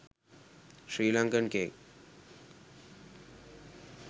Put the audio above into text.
sri lanakan cake